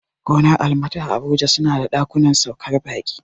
Gonar almat a abuja suna da ɗakunan saukar baƙi